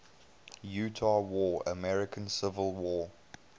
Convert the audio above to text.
utah war american civil war